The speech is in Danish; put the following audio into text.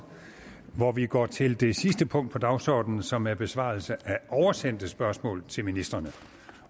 hvor vi går til det sidste punkt på dagsordenen som er besvarelse af oversendte spørgsmål til ministrene